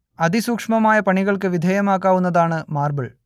അതിസൂക്ഷ്മമായ പണികൾക്ക് വിധേയമാക്കാവുന്നതാണ് മാർബിൽ